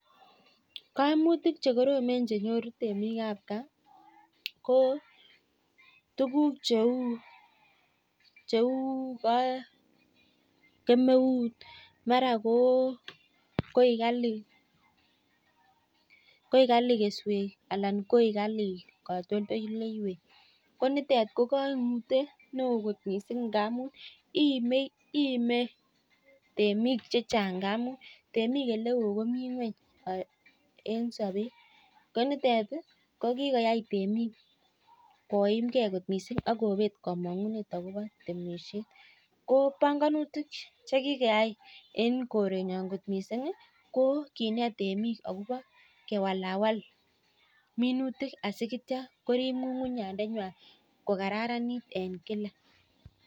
Kaimutik chenyoruu temik ab gaa kouu tuguk cheu kemeut ana koikalii keswek nikikwai temik koroo mami maana temishet